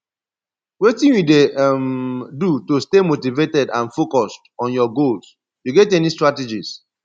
wetin you dey um do to stay motivated and focuesd on your goals you get any strategies